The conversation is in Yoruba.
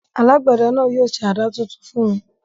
Alágbẹ̀dẹ náà yóò ṣe àdá tuntun fún mi.